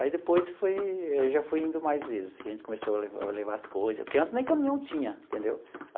Aí depois foi, já fui indo mais vezes, que a gente começou a le a levar as coisas, porque antes nem caminhão tinha, entendeu?